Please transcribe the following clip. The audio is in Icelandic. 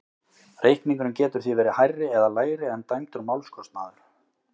Reikningurinn getur því verið hærri eða lægri en dæmdur málskostnaður.